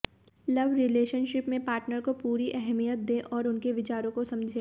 love relationship में partner को पूरी अहमियत दें और उनके विचारों को समझें